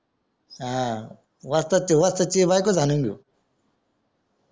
हां वस्ताद ची बायकोच हणून घेऊ